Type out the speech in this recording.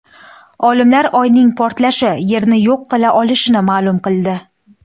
Olimlar Oyning portlashi Yerni yo‘q qila olishini ma’lum qildi.